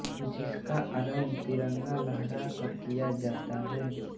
जिसका आरम्भ तिरंगा लहरा कर किया जाता है